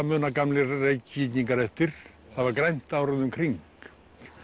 muna gamlir Reykvíkingar eftir það var grænt árið um kring